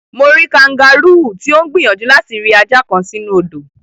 Mo rí kangáróò tí ó ń gbìyànjú láti ri ajá kan sínú odò.